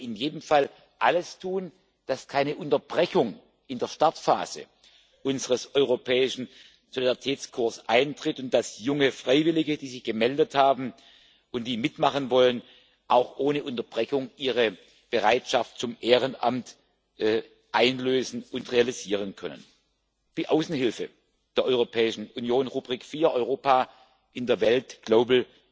Wir sollten aber in jedem Fall alles tun, damit keine Unterbrechung in der Startphase unseres Europäischen Solidaritätskorps eintritt, und damit junge Freiwillige, die sich gemeldet haben und die mitmachen wollen, auch ohne Unterbrechung ihre Bereitschaft zum Ehrenamt einlösen und realisieren können. Die Außenhilfe der Europäischen Union, Rubrik IV Europa in der Welt, Global